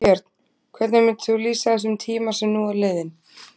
Björn: Hvernig myndir þú lýsa þessum tíma sem nú er liðinn?